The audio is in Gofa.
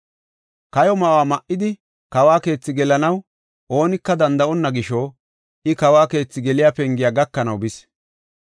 Kayo ma7o ma7idi kawo keethi gelanaw oonika danda7onna gisho, I kawo keethi geliya pengiya gakanaw bis.